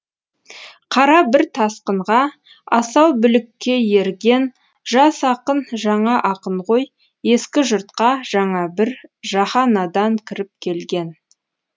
қара бір тасқынға асау бүлікке ерген жас ақын жаңа ақын ғой ескі жұртқа жаңа бір жаһанадан кіріп келген